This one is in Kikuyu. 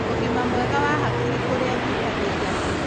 ũgima mwega wa hakiri kũrĩ anyitanĩri ake.